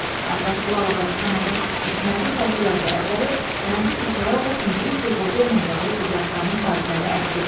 Abbasqulu Ağa Bakıxanovun Hikmətin fəziləti əsəri mənzum hekayə olub müdrik bir qoca ilə bağlı ibrətamiz hadisəni əks etdirir.